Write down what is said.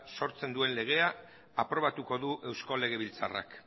sortzen duen legea aprobatuko du eusko legebiltzarrak